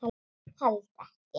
Held ekki.